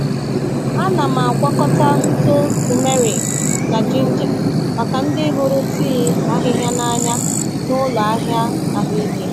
A na m agwakọta ntụ turmeric na ginger maka ndị hụrụ tii ahịhịa n’anya n’ụlọ ahịa ahụike.